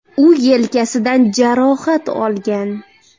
U yelkasidan jarohat olgan.